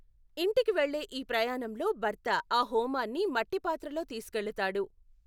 ఇంటికి వెళ్ళే ఈ ప్రయాణంలో భర్త ఆ హోమాన్ని మట్టి పాత్రలో తీసుకెళతాడు.